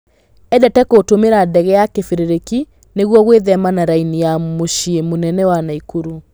Endete gũtũmĩra ndege ya kĩbĩrĩrĩki nĩguo gwĩthema na raini ya mũciĩ mũnene wa Naikuru.